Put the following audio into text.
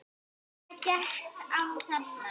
Hvað gekk á þarna?